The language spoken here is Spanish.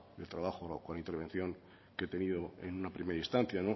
el trabajo con la intervención que he tenido en una primera instancia